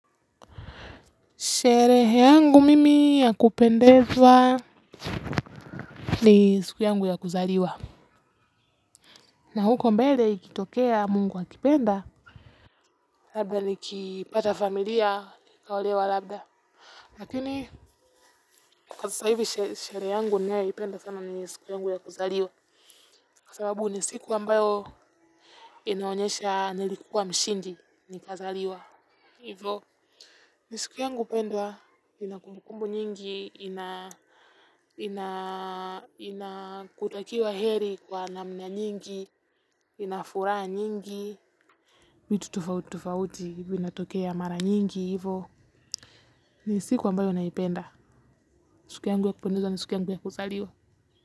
Sherehe yangu mimi ya kupendezwa ni siku yangu ya kuzaliwa. Na huko mbele ikitokea mungu akipenda. Labda nikipata familia nikaolewa. Labda lakini sasa hivi sherehe yangu ninayeipenda sana ni siku yangu ya kuzaliwa. Kwa sababu ni siku ambayo inaonyesha nilikuwa mshindi nikazaliwa hivo. Ni siku yangu pendwa ina kumbukumbu nyingi inakutakiwa heri kwa namna nyingi ina furaha nyingi vitu tofauti tofauti vinatokea mara nyingi hivo. Ni siku ambayo naipenda, ni siku yangu ya kupendeza ni siku yangu ya kuzaliwa.